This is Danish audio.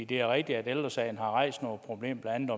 det er rigtigt at ældre sagen har rejst nogle problemer blandt